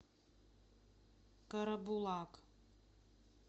карабулак